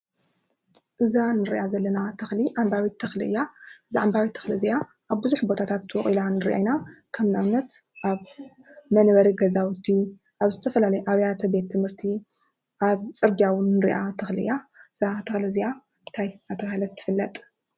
እዛ ንርኣ ዘለና ተኽሊ ዓምባቢት ተኽሊ እያ፡፡ እዛ ዓምባቢት ተኽሊ እዚኣ ኣብ ቡዝሕ ቦታታት ቦቂላ ንሪኣ ኢና ፡፡ከምኣብነት ኣብ መንበሪ ገዛውቲ ፣ኣብ ዝተፈላለዩ ኣብያተ ቤት ትምህርቲ ፣ኣብ ፅርግያ እውን ንሪኣ ተኽሊ እያ ፡፡እዛ ተኽሊ እዚኣ እንታይ እናተባህለት ትፍለጥ ?